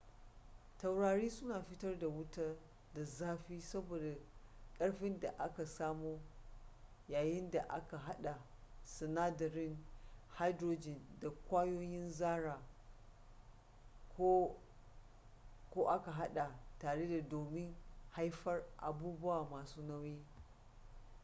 taurari suna fitar da wuta da zafi saboda karfin da aka samo yayin da aka hada sinadarin hydrogen da kwayoyin zarra ko aka hada tare domin haifar abubuwa masu nauyi